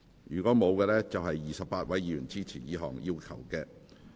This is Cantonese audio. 如果沒有，共有28位議員支持這項要求。